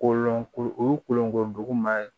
Kolon ko olonkoduguman ye